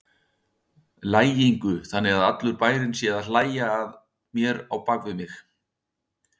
lægingu, þannig að allur bærinn sé að hlæja að mér á bak við mig.